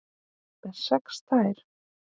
Með sex tær?